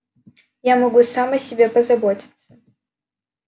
я могу сам о себе позаботиться